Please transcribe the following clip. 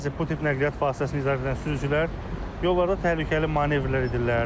Bəzi bu tip nəqliyyat vasitəsini idarə edən sürücülər yollarda təhlükəli manevrlər edirlər.